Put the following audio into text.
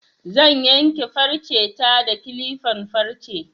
Zan yanke farcen ta da kilifan farce